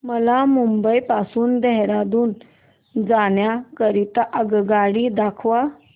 मला मुंबई पासून देहारादून जाण्या करीता आगगाडी दाखवा